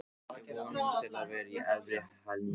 Við vonumst til að vera í efri helmingnum.